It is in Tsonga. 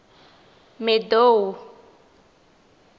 madou